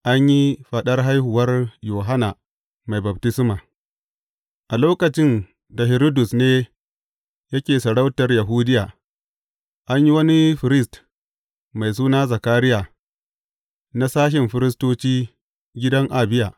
An yi faɗar haihuwar Yohanna Mai Baftisma A lokacin da Hiridus ne yake sarautar Yahudiya, an yi wani firist mai suna Zakariya, na sashin firistoci gidan Abiya.